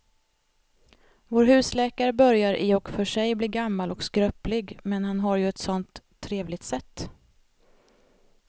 Vår husläkare börjar i och för sig bli gammal och skröplig, men han har ju ett sådant trevligt sätt!